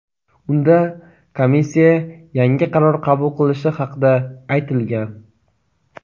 Unda komissiya yangi qaror qabul qilishi haqida aytilgan.